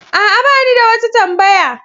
A'a, ba ni da wata tambaya.